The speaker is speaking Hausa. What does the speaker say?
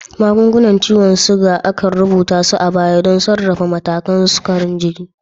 Magungunan ciwon sukari, an rubuta su a baya don sarrafa matakan sukarin jini.